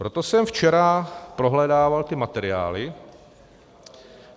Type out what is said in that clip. Proto jsem včera prohledával ty materiály.